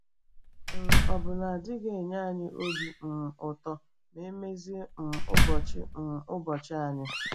um Ọ̀ bụ na ọ dịghị enye anyị obi um ụtọ ma na emezi um ụbọchị um ụbọchị anyị?